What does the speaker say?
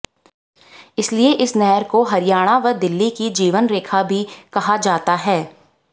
इसलिए इस नहर को हरियाणा व दिल्ली की जीवनरेखा भी कहा जाता है